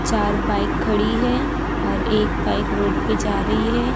चार बाइक खड़ी है और एक बाइक रोड पे जा रही है।